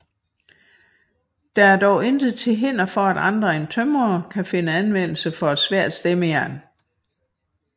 Der er dog intet til hinder for at andre end tømrere kan finde anvendelse for et svært stemmejern